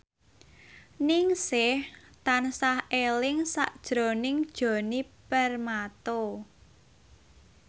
Ningsih tansah eling sakjroning Djoni Permato